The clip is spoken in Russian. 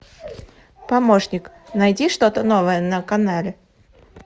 помощник найди что то новое на канале